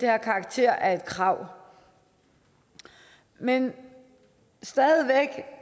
have karakter af et krav man